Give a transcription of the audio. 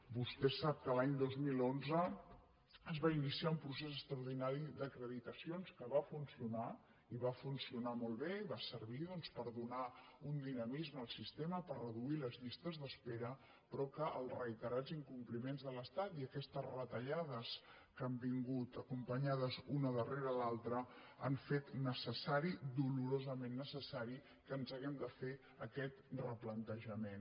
vostè sap que l’any dos mil onze es va iniciar un procés extraordinari d’acreditacions que va funcionar i va funcionar molt bé i va servir doncs per donar un dinamisme al sistema per reduir les llistes d’espera però que els reiterats incompliments de l’estat i aquestes retallades que han vingut acompanyades una rere l’altra han fet necessari dolorosament necessari que ens haguem de fer aquest replantejament